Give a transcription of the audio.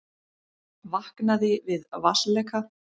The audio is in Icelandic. Vaknaði við vatnsleka